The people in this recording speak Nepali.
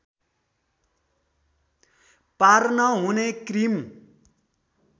पार्न हुने क्रिम